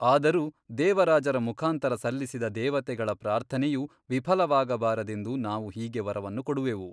ಆದರೂ ದೇವರಾಜರ ಮುಖಾಂತರ ಸಲ್ಲಿಸಿದ ದೇವತೆಗಳ ಪ್ರಾರ್ಥನೆಯು ವಿಫಲವಾಗಬಾರದೆಂದು ನಾವು ಹೀಗೆ ವರವನ್ನು ಕೊಡುವೆವು.